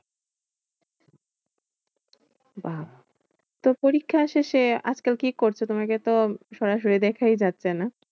বাহ্ তো পরীক্ষার শেষে আজকাল কি করছো? তোমাকে তো সরাসরি দেখায় যাচ্ছে না?